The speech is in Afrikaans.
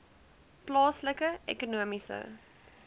plaaslike ekonomiese